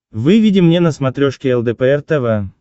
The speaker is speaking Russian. выведи мне на смотрешке лдпр тв